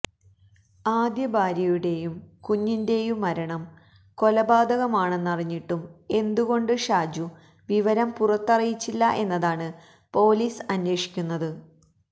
ആദ്യ ഭാര്യയുടേയും കുഞ്ഞിന്റേയും മരണം കൊലപാതകമാണെന്നറിഞ്ഞിട്ടും എന്തുകൊണ്ട് ഷാജു വിവരം പുറത്തറിയിച്ചില്ല എന്നതാണ് പോലീസ് അന്വേഷിക്കുന്നത്